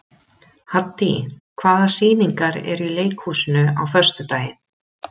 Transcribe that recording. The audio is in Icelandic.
Haddý, hvaða sýningar eru í leikhúsinu á föstudaginn?